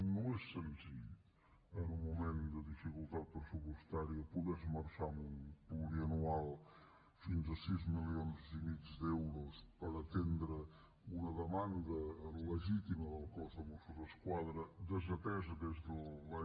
no és senzill en un moment de dificultat pressupostària poder esmerçar en un plurianual fins a sis milions i mig d’euros per atendre una demanda legítima del cos de mossos d’esquadra desatesa des de l’any